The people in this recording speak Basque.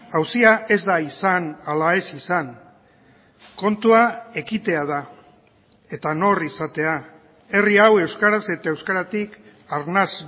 auzia ez da izan ala ez izan kontua ekitea da eta nor izatea herri hau euskaraz eta euskaratik arnas